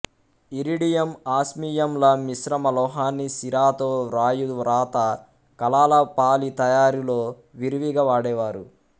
ఇరీడియంఆస్మియం ల మిశ్రమ లోహాన్ని సిరాతో వ్రాయు వ్రాత కలాల పాళీ తయారులో విరివిగా వాడేవారు